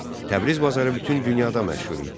Təbriz bazarı bütün dünyada məşhur idi.